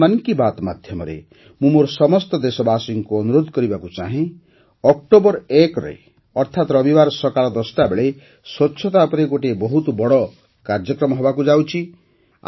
ଆଜି ମନ୍ କି ବାତ୍ ମାଧ୍ୟମରେ ମୁଁ ମୋର ସମସ୍ତ ଦେଶବାସୀଙ୍କୁ ଅନୁରୋଧ କରିବାକୁ ଚାହେଁ ଯେ ୧ ଅକ୍ଟୋବର ଅର୍ଥାତ ରବିବାର ସକାଳ ୧୦ଟା ବେଳେ ସ୍ୱଚ୍ଛତା ଉପରେ ଗୋଟିଏ ବହୁତ ବଡ଼ କାର୍ଯ୍ୟକ୍ରମ ହେବାକୁ ଯାଉଛି